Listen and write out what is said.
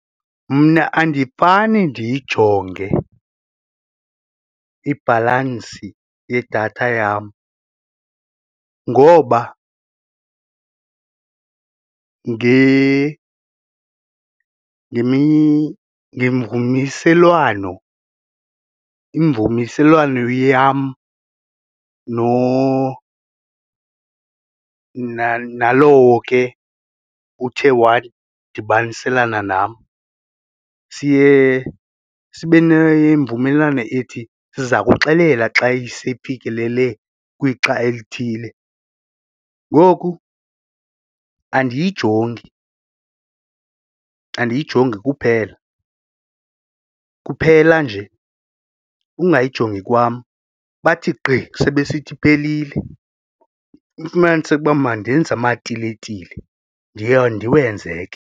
Mna andifane ndiyijonge ibhalansi yedatha yam ngoba ngemvumiselwano yam nalowo ke uthe wadibaniselana nam siye sibe nemvumelwano ethi siza kuxelela xa iseyifikelele kwixa elithile ngoku andiyijongi, andiyijongi kuphela, kuphela nje ungayijongi kwam bathi gqi sebesithi iphelile ufumaniseke uba mandenze amatiletile ndiwenze ke.